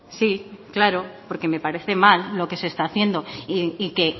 sí claro porque me parece mal lo que se está haciendo y que